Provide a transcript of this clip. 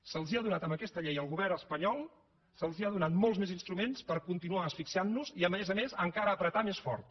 se’ls han donat amb aquesta llei al govern espanyol se’ls han donat molts més instruments per continuar asfixiant nos i a més a més encara collar més fort